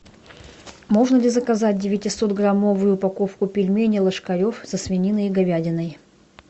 можно ли заказать девятисотграммовую упаковку пельменей ложкарев со свининой и говядиной